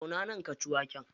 Zauna nan ka ci waken.